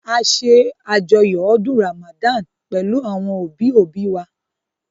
A ṣe àjọyọ̀ ọdún Ràmàdán pẹ̀lú àwọn òbí òbí wa